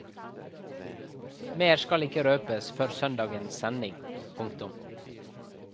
Mer skal ikke røpes før søndagens sending. punktum